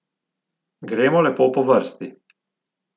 Gremo lepo po vrsti!